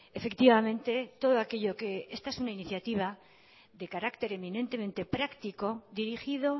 efectivamente todo aquello que esta es una iniciativa de carácter eminentemente práctico dirigido